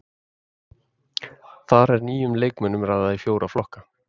Þar er nýjum leikmönnum raðað í fjóra flokka.